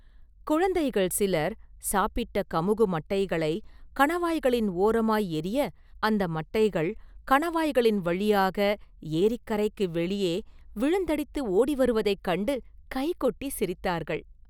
குழந்தைகள் சிலர் சாப்பிட்ட கமுகு மட்டைகளை கணவாய்களின் ஓரமாய் எறிய, அந்த மட்டைகள் கணவாய்களின் வழியாக ஏரிக்கரைக்கு வெளியே விழுந்தடித்து ஓடி வருவதைக் கண்டு கைகொட்டி சிரித்தார்கள்.